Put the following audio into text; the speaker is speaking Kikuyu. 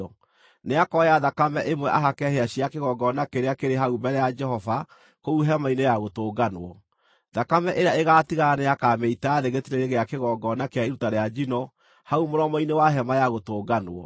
Nĩakoya thakame ĩmwe ahake hĩa cia kĩgongona kĩrĩa kĩrĩ hau mbere ya Jehova kũu Hema-inĩ-ya-Gũtũnganwo. Thakame ĩrĩa ĩgaatigara nĩakamĩita thĩ gĩtina-inĩ gĩa kĩgongona kĩa iruta rĩa njino hau mũromo-inĩ wa Hema-ya-Gũtũnganwo.